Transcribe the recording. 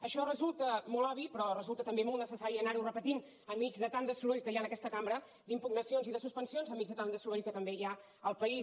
això resulta molt obvi però resulta també molt necessari anar ho repetint enmig de tant de soroll que hi ha en aquesta cambra d’impugnacions i de suspensions enmig de tant de soroll que també hi ha en el país